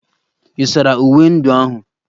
Ị̀ sara uwe ndị ahụ?